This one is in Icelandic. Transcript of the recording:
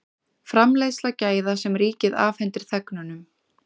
Framleiðsla gæða sem ríkið afhendir þegnunum